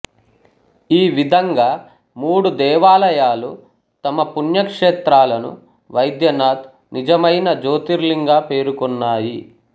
ఈ విధంగా మూడు దేవాలయాలు తమ పుణ్యక్షేత్రాలను వైద్యనాథ్ నిజమైన జ్యోతిర్లింగా పేర్కొన్నాయి